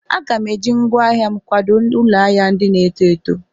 Aga m eji ngwaa ahịa m kwadò ụlọ ahịa ndị na-eto eto.